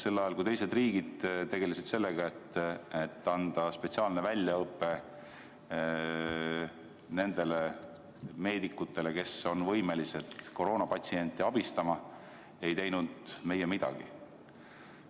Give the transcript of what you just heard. Sel ajal, kui teised riigid tegelesid sellega, et anda spetsiaalne väljaõpe nendele meedikutele, kes on võimelised koroonapatsienti abistama, ei teinud meie midagi.